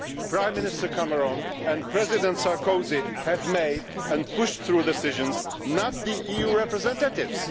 Prime Minister Cameron and President Sarkozy have made and pushed through decisions not the EU representatives.